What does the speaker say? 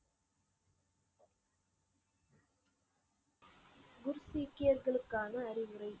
குர் சீக்கியர்களுக்கான அறிவுரை